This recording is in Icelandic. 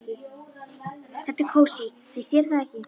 Þetta er kósí, finnst þér ekki?